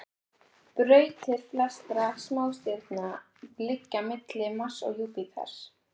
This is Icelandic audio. Brautir flestra smástirnanna liggja milli Mars og Júpíters.